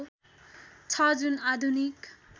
छ जुन आधुनिक